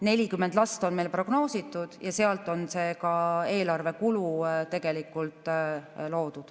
40 last on meil prognoositud ja selle põhjal on see eelarvekulu loodud.